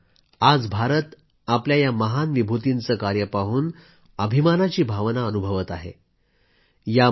मित्रांनो आज भारत आपल्या या महान विभूतींचे कार्य पाहून अभिमानाची भावना अनुभवत आहे